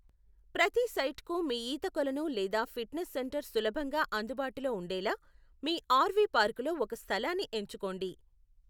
ప్రతి సైట్కు మీ ఈత కొలను లేదా ఫిట్నెస్ సెంటర్ సులభంగా అందుబాటులో ఉండేలా మీ ఆర్వీ పార్కులో ఒక స్థలాన్ని ఎంచుకోండి.